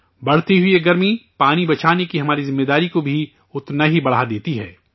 بڑھتی ہوئی یہ گرمی، پانی بچانے کی ہماری ذمہ داری کو بھی اتنا ہی بڑھا دیتی ہے